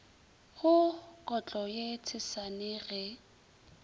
go kotlo ye tshesane ge